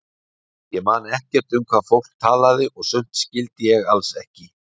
Ég man ekkert um hvað fólk talaði og sumt skildi ég alls ekki.